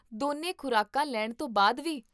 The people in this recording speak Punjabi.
ਦੋਨੋ ਖ਼ੁਰਾਕਾਂ ਲੈਣ ਤੋਂ ਬਾਅਦ ਵੀ?